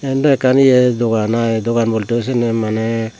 iyendow ekkan ye dogan aai dogan boltey siyeno maney.